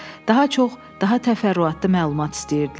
Daha çox, daha təfərrüatlı məlumat istəyirdilər.